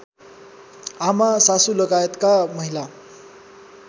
आमा सासूलगायतका महिला